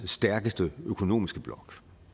stærkeste økonomiske blok